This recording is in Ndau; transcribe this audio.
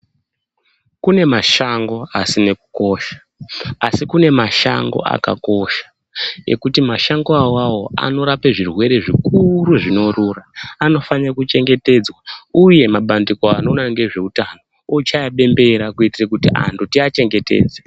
Kune mashango asine kukosha, asi kune mashango akakosha, ekuti mashango awawo anorape zvirwere zvikuuuru zvinorura. Anofanire kuchengetedzwa uyr mabandiko anoona nezveutano ochaye bembera kuti anhu tiachengetedze.